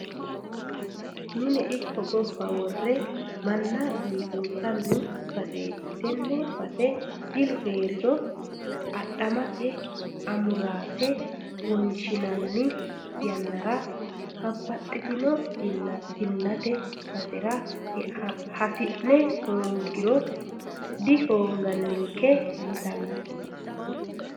Mine ikko gobba wore manna biifinsanni baseti, tene base jilu heeriro adhamate amurate wonshinanni yannara babbaxxitino jillate basera hasi'ne dangiro dihoonganinke yittano.